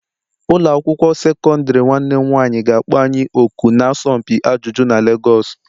Ụlọ akwụkwọ sekọndrị nwanne m nwanyị ga-akpọ anyị òkù n'asọmpi ajụjụ na Lagos.